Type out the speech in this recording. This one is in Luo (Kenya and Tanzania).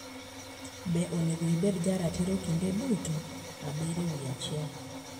Be Onego Ibed Jaratiro Kinde Duto? 7/1